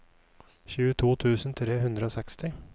tjueto tusen tre hundre og seksti